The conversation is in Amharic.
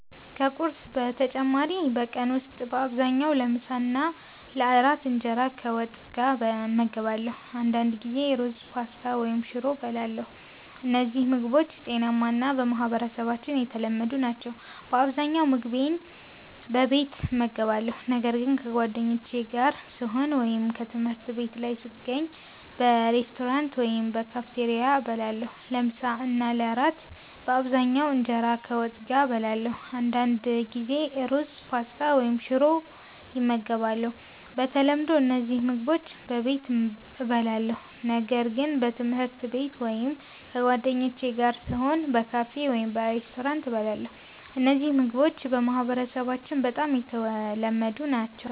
ከቁርስ በተጨማሪ በቀን ውስጥ በአብዛኛው ለምሳና ለእራት እንጀራ ከወጥ ጋር እመገባለሁ። አንዳንድ ጊዜ ሩዝ፣ ፓስታ ወይም ሽሮ እበላለሁ። እነዚህ ምግቦች ጤናማ እና በማህበረሰባችን የተለመዱ ናቸው። በአብዛኛው ምግቤን በቤት እመገባለሁ፣ ነገር ግን ከጓደኞቼ ጋር ስሆን ወይም ትምህርት ቤት ላይ ስገኝ በሬስቶራንት ወይም በካፌቴሪያ እበላለሁ። ለምሳ እና ለእራት በአብዛኛው እንጀራ ከወጥ ጋር እበላለሁ። አንዳንድ ጊዜ ሩዝ፣ ፓስታ ወይም ሽሮ ይመገባሉ። በተለምዶ እነዚህ ምግቦች በቤት እበላለሁ፣ ነገር ግን በትምህርት ቤት ወይም ከጓደኞቼ ጋር ስሆን በካፌ ወይም በሬስቶራንት እበላለሁ። እነዚህ ምግቦች በማህበረሰባችን በጣም የተለመዱ ናቸው።